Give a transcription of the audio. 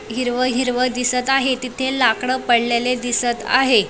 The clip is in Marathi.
हिरव हिरव दिसत आहे तिथे लाकड पडलेले दिसत आहे.